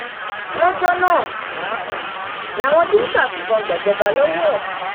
lọjọ náà um làwọn dimka fìbọn gbàjọba lọwọ ẹ